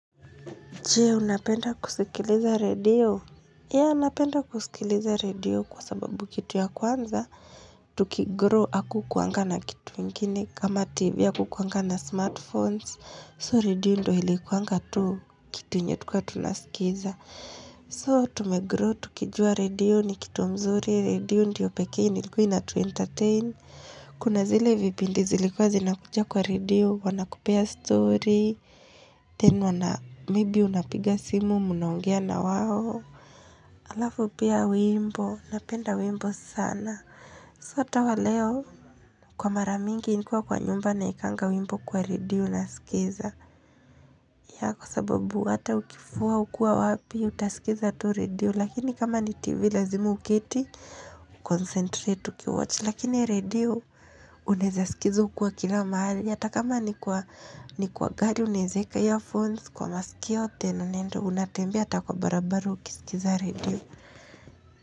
Je, unapenda kusikiliza radio? Ya, napenda kusikiliza redio kwa sababu kitu ya kwanza, tukigrow haku kuangana kitu kingine kama tv hakukuanga na smartphones. So, redio ndio ilikuanga tu kitu yenye tulikua tunasikiza. So, tumegrow, tukijua redio ni kitu mzuri, redio ndiyo pekee ilikua ina tuentertain. Kuna zile vipindi zilikuwa zinakuja kwa redio, wanakupea story, tena na maybe unapiga simu munaongea na wao Alafu pia wimbo Napenda wimbo sana hata waleo Kwa maramingi nikiwa kwa nyumba nawekanga wimbo kwa radio nasikiza ya kwa sababu hata ukifua ukua wapi utasikiza tu redio Lakini kama ni tv lazimu uketi Concentrate uki watch Lakini redio unaeza sikiza ukiwa kila mahali Yata kama ni kwa gari unaeza weka earphones Kwa masikio na nenda unatambea ata kwa barabara ukiskiza redio.